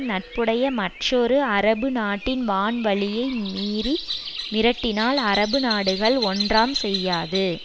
நட்புடைய மற்றொரு அரபு நாட்டின் வான்வழியை மீறி மிரட்டினால் அரபு நாடுகள் ஒன்றாம் செய்யாது